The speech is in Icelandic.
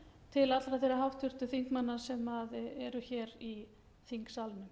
til allra þeirra háttvirtra þingmanna sem eru hér í þingsalnum